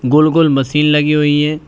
गोल गोल मसीन लगी हुई है।